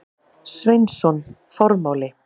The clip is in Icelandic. Sveinsson: Formáli.